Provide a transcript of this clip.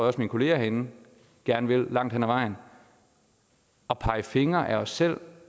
at mine kolleger herinde gerne vil langt hen ad vejen at pege fingre ad os selv